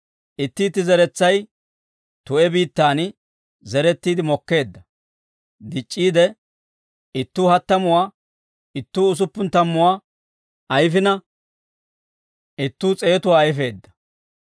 Itti itti zeretsay tu'e biittaan zerettiide mokkeedda; dic'c'iide ittuu hattamuwaa, ittuu usuppun tammuwaa ayfina, ittuu s'eetuwaa ayfeedda.»